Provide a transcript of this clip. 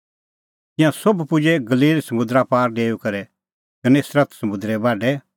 तिंयां सोभ पुजै गलील समुंदरा पार डेऊई करै गन्नेसरत समुंदरे बाढै